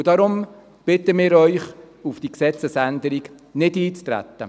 Deshalb bitten wir Sie, auf diese Gesetzesänderung nicht einzutreten.